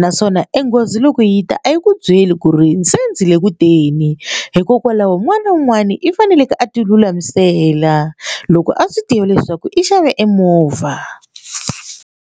naswona enghozi loko yi ta a yi ku byeli ku ri se ndzi le ku teni hikokwalaho un'wana na un'wana i faneleke a ti lulamisela loko a swi tiva leswaku i xave emovha.